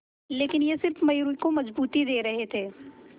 लेकिन ये सिर्फ मयूरी को मजबूती दे रहे थे